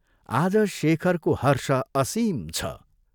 आज शेखरको हर्ष असीम छ।